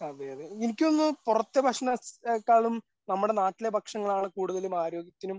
അതെ അതെ എനിക്ക് തോന്നുന്നു പുറത്തെ ഭക്ഷണത്തേക്കാളും നമ്മുടെ നാട്ടിലെ ഭക്ഷണങ്ങളാണ് കൂടുതലും ആരോഗ്യത്തിനും